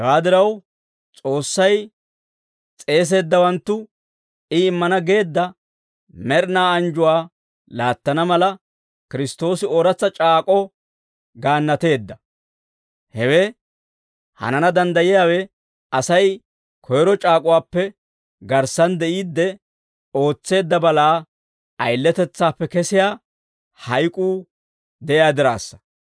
Hewaa diraw, S'oossay s'eeseeddawanttu I immana geedda med'inaa anjjuwaa laattana mala, Kiristtoosi ooratsa c'aak'k'oo gaannateedda; hewe hanana danddayiyaawe, Asay koyro c'aak'uwaappe garssan de'iidde ootseedda balaa ayiletetsaappe kessiyaa hayk'uu de'iyaa diraassa.